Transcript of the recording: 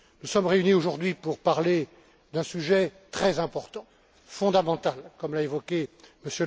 Nous sommes réunis aujourd'hui pour parler d'un sujet très important et fondamental, comme l'a évoqué M.